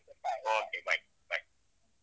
Okay bye bye .